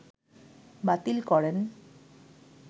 বাতিল করেন